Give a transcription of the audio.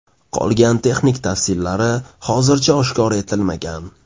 Qolgan texnik tavsiflari hozircha oshkor etilmagan.